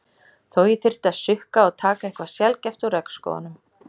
Þó ég þyrfti að sukka og taka eitthvað sjaldgæft úr regnskógunum.